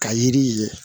Ka yiri ye